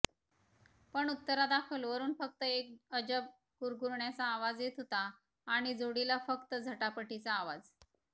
पण उत्तरादाखल वरून फ़क्त एक अजब गुरगुरण्याचा आवाज येत होता आणि जोडीला फ़क्त झटापटीचा आवाज